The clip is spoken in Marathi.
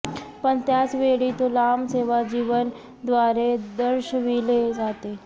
पण त्याच वेळी तो लांब सेवा जीवन द्वारे दर्शविले जाते